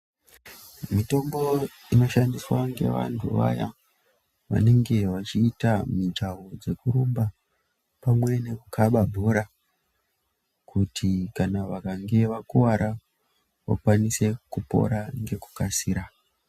Mitombo inoshandiswa ngevantu vaya vanenge vachiita mijaho dzekurumba pamwe nekukaba bhora kuti kana vakange vakuwara vakwanise kupora ngekukasira.